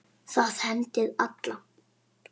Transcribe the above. Það hendir alla